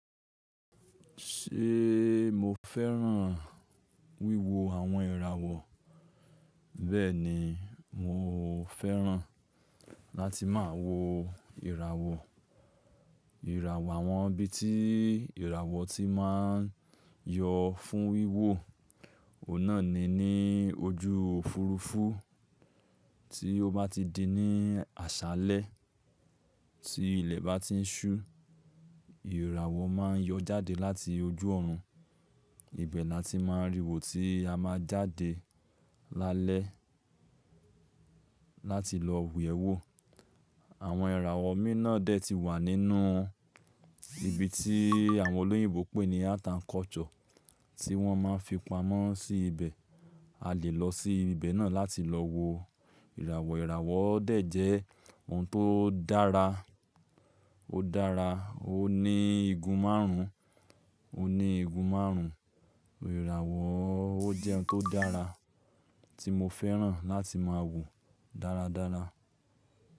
Ṣé mo fẹ́ràn wíwo àwọn ìràwọ̀? Bẹ́ẹ̀ni, mo fẹ́ràn láti máa wo ìràwọ Ìràwọ̀ àwọn ibi tí ìràwọ̀ tí máa ń yọ fún wíwò, ọ̀nà ni ní ojú òfurufú, tí ó bá ti di ní àṣálẹ́ tí ilẹ̀ bá ti ń ṣú, ìràwọ̀ máa ń yọ jáde láti ojú ọ̀run. Ibẹ̀ ni a ti máa ń rì wò, tí a máa jáde lálẹ́ láti lọ yẹ̀wò. Àwọn ìràwọ̀ mìí na dẹ̀ ti wà nínú ibi tí àwọn olóyìnbo pè ní Art and Culture tí wọ́n máa ń fi pamọ́ sí ibẹ̀, a lè lọ sí ibẹ̀ náà láti lọ wo ìràwọ̀. Ìràwọ̀ dẹ̀ jẹ́ ohun tó dára, ó dára, ó ní igun márùn ún, ó ní igun márùn ún. Ìràwọ̀ ó jẹ ohun tó dára tí mo fẹ́ràn láti máa wò dáradára.